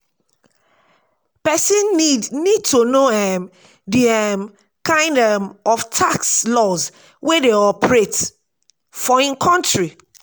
person need need to know um di um kind um of tax laws wey dey operate for im country